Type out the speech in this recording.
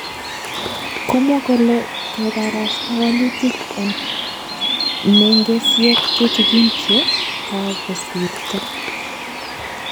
Komwa kole kagebarasta walutik eng nengesyek tutigin che kagosirto